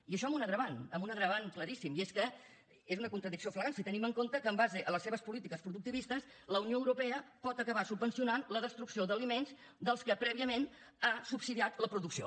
i això amb un agreujant amb un agreujant claríssim i és que és una contradicció flagrant si tenim en compte que amb base en les seves polítiques productivistes la unió europea pot acabar subvencionant la destrucció d’aliments del quals prèviament ha subsidiat la producció